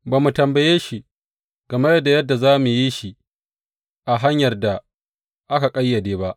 Ba mu tambaye shi game da yadda za mu yi shi a hanyar da aka ƙayyade ba.